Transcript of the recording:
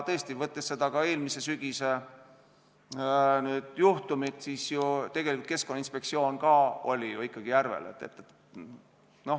Tõesti, mõeldes ka eelmise sügise juhtumile, tegelikult Keskkonnainspektsioon ka ikkagi oli ju järvel.